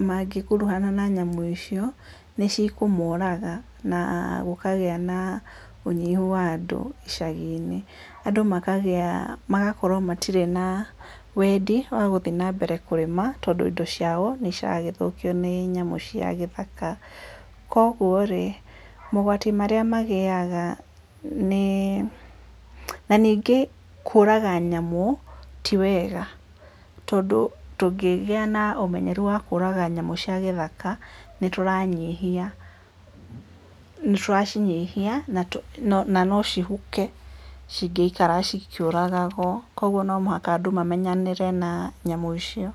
mangĩ kuruhana na nyamũ icio nĩ cikũmoraga na gũkagĩa na ũnyihu wa andũ icagiĩ na andũ makagĩa magakorwo matirĩ na wendi wa gũthiĩ na mbere na kũrĩma tondũ indo ciao nĩ ciragĩthũkio nĩ nyamũ cia gĩthaka, kwoguo rĩ mogwati marĩa magĩaga nĩ, na ningĩ kũraga nyamũ ti wega tondũ tũngĩgĩa na ũmenyeru wa kũraga nyamũ cia gĩthaka nĩ tũracinyihia na cihuke cingĩikara cikĩũragagwo, kwoguo no mũhaka andũ mamenyerane na nyamũ icio.